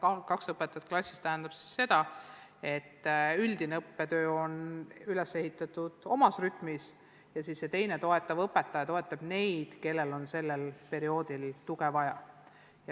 Kaks õpetajat klassis tähendab seda, et üldine õppetöö on üles ehitatud omas tavalises rütmis ja teine, toetav õpetaja abistab neid, kellel on parajasti tuge vaja.